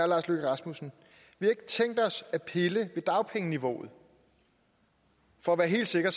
lars løkke rasmussen vi har ikke tænkt os at pille ved dagpengeniveauet for at være helt sikker